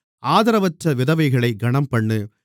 ஆதரவற்ற விதவைகளைக் கனம்பண்ணு